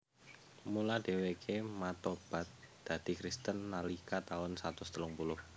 Mula dhèwèké matobat dadi Kristen nalika taun satus telung puluh